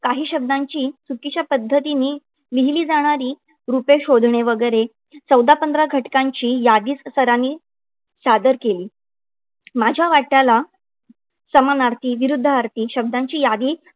काही शब्दांची चुकीच्या पद्धतीने लिहिली जाणारी रुपे शोधणे वगैरे चौदा-पंधरा घटकांची यादीच सरांनी सादर केली. माझ्या वाट्याला समानार्थी, विरूद्धार्थी शब्दांची यादी